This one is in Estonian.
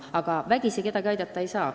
Aga vägisi kedagi aidata ei saa.